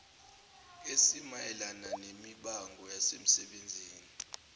esimayelana nemibango yasemsebenzini